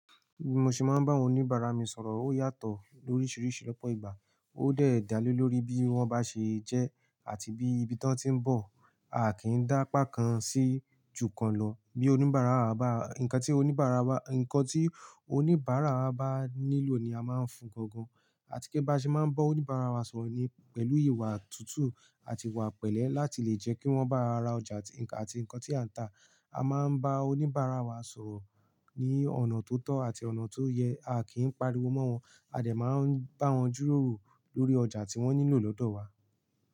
Bí mo ṣe máa ń bá àwọn oníbàárà mi sọ̀rọ̀ ó yàtọ̀ lóríṣiríṣi lopọ̀ ìgbà. Ó dẹ̀ da le lórí bí wọ́n bá ṣe jẹ́ àti bí ibi tán tí ń bọ̀. A kì n dápá kan sí jù kan lọ. Bí oníbàárà wa bá, ǹnkan tí oníbàárà wa, ǹnkan tí oníbàárà wa bá nílò ni a máa ń fun gangan. Àti pe bá ṣe máa ń bọ́ oníbàárà wa sọ̀rọ̀ ni pẹ̀lú ìwà tútù àti ìwà pẹ̀lẹ́ láti lè jẹ́ kí wọ́n bá wa ra ọjà àti ǹnkan tí à ń tà. A máa ń bá oníbàárà wa sọ̀rọ̀ ní ọ̀nà tó tọ́ àti ọ̀nà tó yẹ. A kì í pariwo mọ́ wọn. A dẹ̀ máa ń bá wọn jíròrò lórí ọjà tí wọ́n nílò lọ́dọ̀ wa.